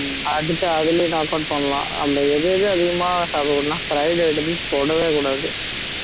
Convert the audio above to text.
அடிச்சு அதுலயும் knock out பண்ணலாம் நம்ம எது எது அதிகமா சாப்பிட கூடாதுன்னா fried items தொடவே கூடாது